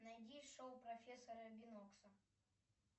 найди шоу профессора бинокса